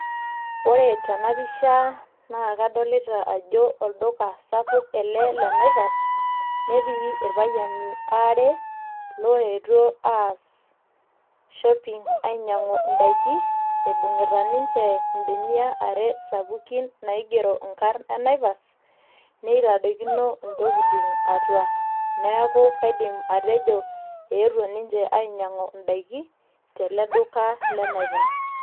ore tenapisha naa kadolita ajo olduka sapuk ele le naipas netii irpayiani aare loetuo aas shopping ainyiang'u indaiki ibung'ita ninche imbenia are sapukin naigero inkarn e naipas neitadokino intokitin atua neeku kaidim atejo eetuo ninche ainyiang'u indaiki teleduka le naipas.